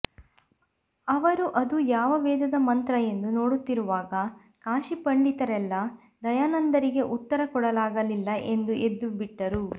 ಅವರು ಅದು ಯಾವ ವೇದದ ಮಂತ್ರ ಎಂದು ನೋಡುತ್ತಿರುವಾಗ ಕಾಶಿ ಪಂಡಿತರೆಲ್ಲಾ ದಯಾನಂದರಿಗೆ ಉತ್ತರ ಕೊಡಲಾಗಲಿಲ್ಲ ಎಂದು ಎದ್ದುಬಿಟ್ಟರು